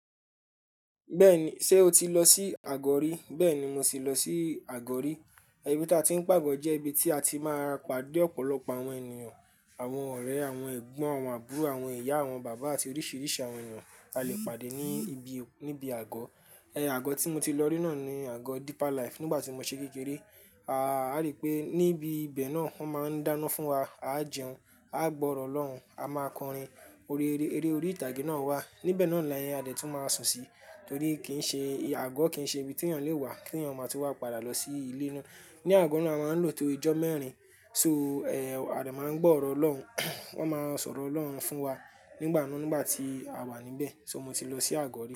Bẹ́ẹ̀ni, ṣé o ti lọ sí àgò rí? Bẹ́ẹ̀ni, mo ti lọ sí àgò rí. Ibi tí a ti ń pààgò jẹ́ ibi tí a ti máa ra padé ọ̀pọ̀lọpọ̀ àwọn ènìyàn, àwọn ọ̀rẹ́, àwọn ẹ̀gbọ́n, àwọn àbúrò, àwọn ìyá, àwọn bàbá àti oríṣìíríṣìí àwọn ènìyàn a lè pàdé ní ibi, níbi àgò. Ẹ̀n àgò tí mo ti lọ rí náà ni àgò Deeper Life nígbà tí mọ ṣe kekéré. A á rí pé níbi ibẹ̀ náà, wọ́n máa ń dáná fún wa. A á jẹun, a á gbọ́ ọ̀rọ̀ Ọlọ́run, a máa kọrin, orí eré, eré orí ìtàgé náà wà. Níbẹ̀ náà ni à dẹ́ tún máa ń sùn sí, torí kì í ṣe àgò, kì í ṣe ibi tí ẹ̀eyan lè wá, tí ẹ̀eyan má tú wa padà lọ sí ilé ná. Ní àgò náà, a máa ń lo to ijọ́ mẹ́rin. So, ẹ̀, à dẹ̀ máa ń gbọ́ ọ̀rọ̀ Ọlọ́run, wọ́n máa ń sọ̀rọ̀ Ọlọ́run fún wa nígbàá mi nígbà tí a wà níbẹ̀. So mo ti lọ sí àgò rí.